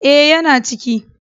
E, yana ciki.